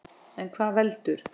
En hvað veldur?